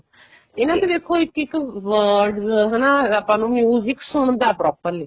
ਇਹਨਾ ਚ ਦੇਖੋ ਇੱਕ words ਹਨਾ ਆਪਾਂ ਨੂੰ music ਸੁਣਦਾ properly